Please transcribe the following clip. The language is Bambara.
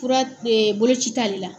Fura ee boloci t'al la!